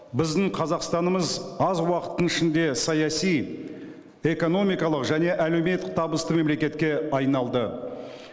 біздің қазақстанымыз аз уақыттың ішінде саяси экономикалық және әлеуметтік табысты мемлекетке айналды